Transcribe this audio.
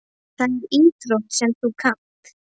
Það er íþrótt sem þú kannt.